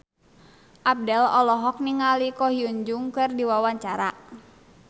Abdel olohok ningali Ko Hyun Jung keur diwawancara